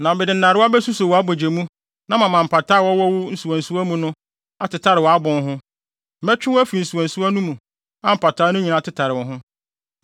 Na mede nnarewa besuso wʼabogye mu na mama mpataa a wɔwɔ wo nsuwansuwa mu no atetare wʼabon ho. Mɛtwe wo afi wo nsuwansuwa no mu, a mpataa no nyinaa tetare wo ho.